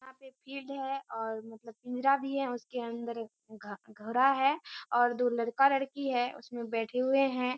यहाँ पे फील्ड है और मतलब भी है। उसके अंदर एक घड़ा है और दो लड़का-लड़की हैं उसमें बैठे हुए हैं।